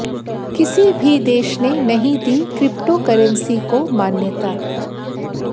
किसी भी देश ने नहीं दी क्रिप्टोकरेंसी को मान्यता